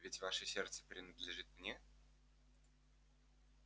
ведь ваше сердце принадлежит мне